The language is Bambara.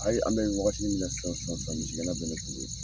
Ayi an bɛ nin wagati min na sisan misigɛnna bɛ ne fɛ yen